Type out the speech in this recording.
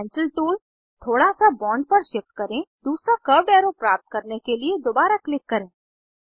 pencil tool थोड़ा सा bond पर शिफ्ट करें दूसरा कर्व्ड एरो प्राप्त करने के लिए दोबारा क्लिक करें